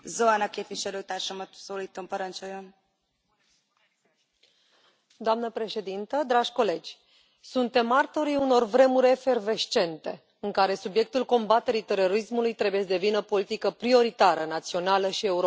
Doamnă președintă, dragi colegi, suntem martorii unor vremuri efervescente, în care subiectul combaterii terorismului trebuie să devină politică prioritară, națională și europeană și nu mă refer doar la tot ceea ce înseamnă politică de stat,